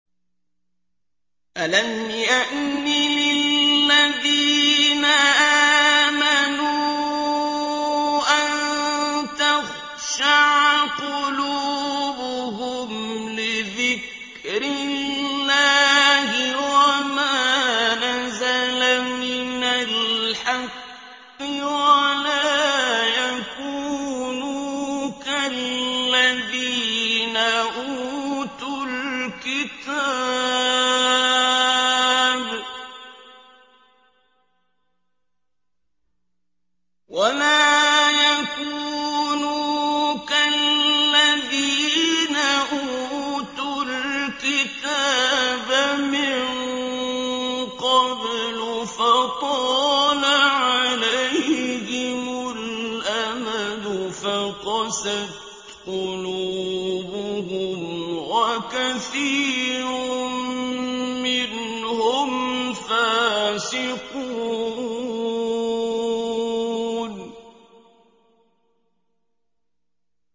۞ أَلَمْ يَأْنِ لِلَّذِينَ آمَنُوا أَن تَخْشَعَ قُلُوبُهُمْ لِذِكْرِ اللَّهِ وَمَا نَزَلَ مِنَ الْحَقِّ وَلَا يَكُونُوا كَالَّذِينَ أُوتُوا الْكِتَابَ مِن قَبْلُ فَطَالَ عَلَيْهِمُ الْأَمَدُ فَقَسَتْ قُلُوبُهُمْ ۖ وَكَثِيرٌ مِّنْهُمْ فَاسِقُونَ